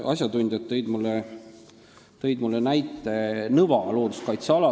Asjatundjad tõid mulle näiteks Nõva looduskaitseala.